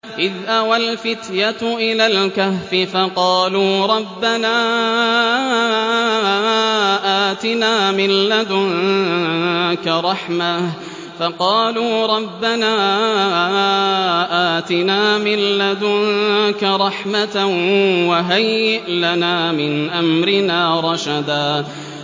إِذْ أَوَى الْفِتْيَةُ إِلَى الْكَهْفِ فَقَالُوا رَبَّنَا آتِنَا مِن لَّدُنكَ رَحْمَةً وَهَيِّئْ لَنَا مِنْ أَمْرِنَا رَشَدًا